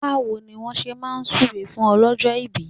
Báwo ni wọ́n ṣe máa súre fún ọlọ́jọ́ ìbí?